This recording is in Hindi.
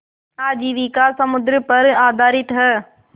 आजीविका समुद्र पर आधारित है